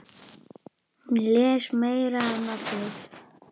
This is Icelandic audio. Hún les meira en allir.